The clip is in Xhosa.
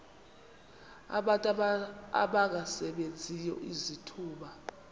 abantu abangasebenziyo izithuba